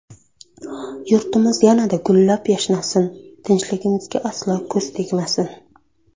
Yurtimiz yanada gullab-yashnasin, tinchligimizga aslo ko‘z tegmasin”.